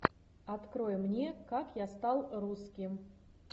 открой мне как я стал русским